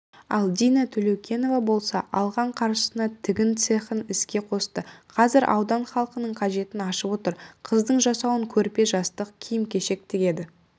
ал дина төлеукенова болса алған қаржысына тігін цехын іске қосты қазір аудан халқының қажетін ашып отыр қыздың жасауын көрпе-жастық киім-кешек тігеді